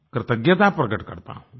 कृतज्ञता प्रकट करता हूँ